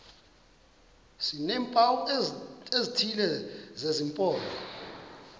sineempawu ezithile zesimpondo